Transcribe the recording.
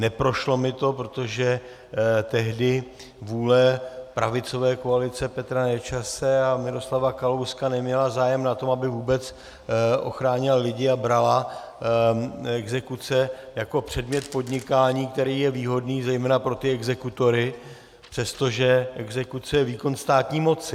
Neprošlo mi to, protože tehdy vůle pravicové koalice Petra Nečase a Miroslava Kalouska neměla zájem na tom, aby vůbec ochránila lidi, a brala exekuce jako předmět podnikání, který je výhodný, zejména pro ty exekutory, přestože exekuce je výkon státní moci.